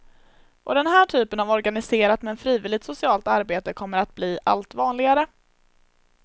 Och den här typen av organiserat men frivilligt socialt arbete kommer att bli allt vanligare.